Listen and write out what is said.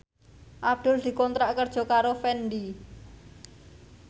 Abdul dikontrak kerja karo Fendi